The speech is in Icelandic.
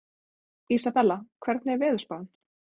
Isabella, hvernig er veðurspáin?